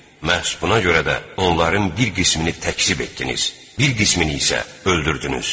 Məhz buna görə də onların bir qismini təkzib etdiniz, bir qismini isə öldürdünüz.